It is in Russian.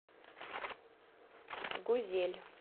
гузель